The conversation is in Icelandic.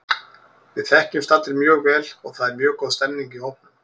Við þekkjumst allir mjög vel og það er mjög góð stemning í hópnum.